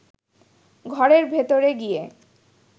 ঘরের ভেতরে গিয়ে